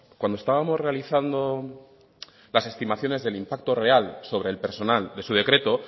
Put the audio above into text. cuando estábamos realizando las estimaciones del impacto real sobre el personal de su decreto